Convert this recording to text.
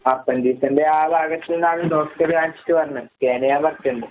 അപ്പെൻഡിക്സിന്റെ ആ ഭാഗത്ത്ന്നാണ് ഡോക്ടർ കാണിച്ചിട്ട് പറഞ്ഞത്. സ്കാനെയ്യാൻ പറഞ്ഞിട്ട്ണ്ട്.